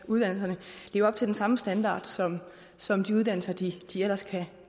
uddannelserne lever op til den samme standard som som de uddannelser de ellers